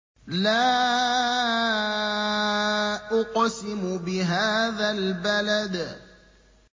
لَا أُقْسِمُ بِهَٰذَا الْبَلَدِ